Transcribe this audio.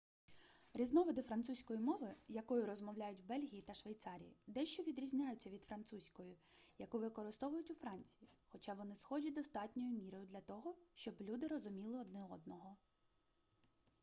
різновиди французької мови якою розмовляють в бельгії та швейцарії дещо відрізняються від французької яку використовують у франції хоча вони схожі достатньою мірою для того щоб люди розуміли один одного